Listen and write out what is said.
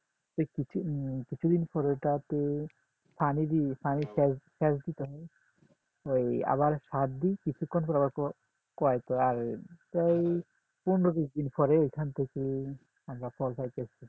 এই কিছু কিছুদিন পরে পানি দিয়ে পানি সেচ দিতে হয় আবার সার দি কিছুক্ষণ পর প্রায় পনেরো বিশ দিন পর ঐখান থেকে আমরা ফল পাইতেছি